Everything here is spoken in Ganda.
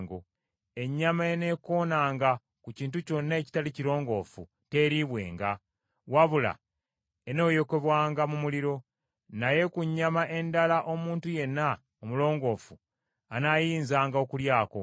“ ‘Ennyama eneekoonanga ku kintu kyonna ekitali kirongoofu teeriibwenga, wabula eneeyokebwanga mu muliro; naye ku nnyama endala omuntu yenna omulongoofu anaayinzanga okulyako.